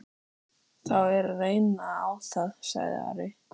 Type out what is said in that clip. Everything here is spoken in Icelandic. Þá er að reyna á það, sagði Ari.